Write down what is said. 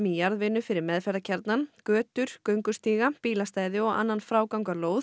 jarðvinnu fyrir meðferðarkjarnann götur göngustíga bílastæði og annan